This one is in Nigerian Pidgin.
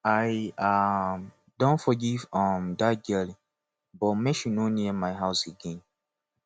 i um don forgive um dat girl but make she no near my house again